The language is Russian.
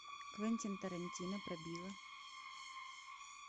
квентин тарантино про билла